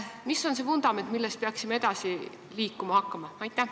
Mis on see vundament, millelt me peaksime hakkama edasi liikuma?